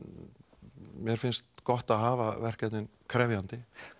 mér finnst gott að hafa verkefnin krefjandi